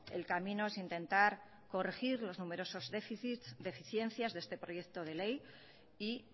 el camino es intentar corregir los numerosos déficits deficiencias de este proyecto de ley y